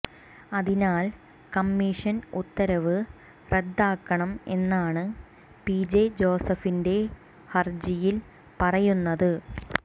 അതിനാൽ കമ്മിഷൻ ഉത്തരവ് റദ്ദാക്കണം എന്നാണ് പിജെ ജോസഫിന്റെ ഹർജിയിൽ പറയുന്നത്